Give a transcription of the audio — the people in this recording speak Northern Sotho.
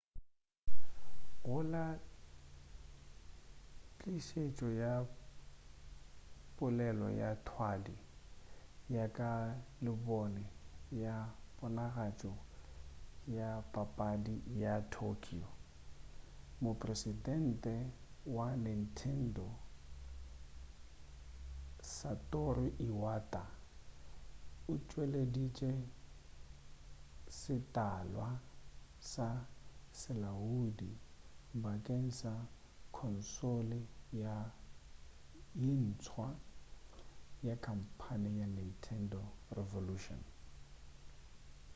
go la tlišetšo ya polelo ya thwadi ya ka labone ya ponagatšo ya papadi ya tokyo mopresidente wa nintendo satoru iwata o tšweleditše setalwa sa selaodi bakeng sa khonsole ye ntswa ya khamphane ya nintendo revolution